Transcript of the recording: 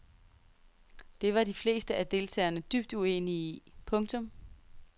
Det var de fleste af deltagerne dybt uenige i. punktum